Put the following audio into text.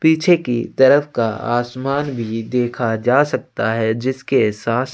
पीछे की तरफ का आसमान भी देखा जा सकता है जिसके सास--